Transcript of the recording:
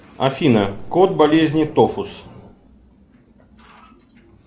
афина код болезни тофус